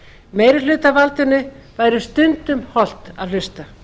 meirihlutavaldinu væri stundum hollt að hlusta